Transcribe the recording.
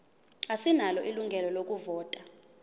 asinalo ilungelo lokuvota